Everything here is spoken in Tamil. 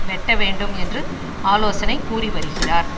வெட்ட வேண்டும் என்று ஆலோசனை கூறிவருகிறார்